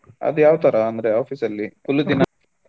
ಅದ ಯಾವತರ ಅಂದ್ರೆ Office ಅಲ್ಲಿ full ದಿನ.